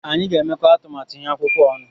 Anyị ga-emekọ atụmatụ ihu akwụkwọ a ọnụ.